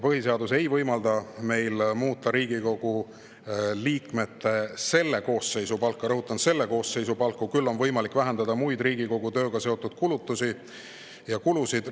Põhiseadus ei võimalda meil muuta Riigikogu liikmete selle koosseisu palku – rõhutan, selle koosseisu palku –, küll on võimalik vähendada Riigikogu tööga seotud muid kulusid.